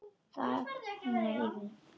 Það hýrnar yfir Klöru.